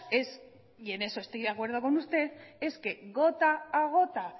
en eso estoy de acuerdo con usted es que gota a gota